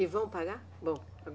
E vão pagar? Vão